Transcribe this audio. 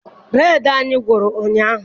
Bureedi anyị gwụrụ ụnyaahụ.